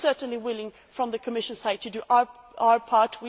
We are certainly willing on the Commission side to do our part.